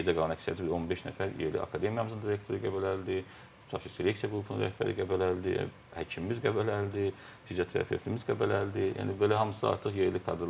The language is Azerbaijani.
Yerdə qalan əksəriyyəti bir 15 nəfər yerli, akademiyamızın direktoru Qəbələlidir, tutaq ki, seleksiya qrupunun rəhbəri Qəbələlidir, həkimimiz Qəbələlidir, fizioterapetimiz Qəbələlidir, yəni belə hamısı artıq yerli kadırlardır.